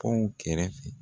Pɔnw kɛrɛ fɛ.